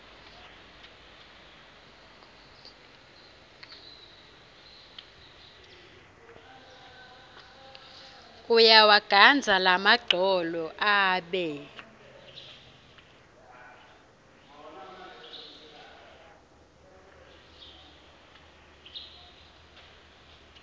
uyawagandza lamagcolo abe